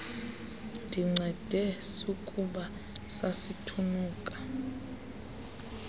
ndincede sukuba sasithunuka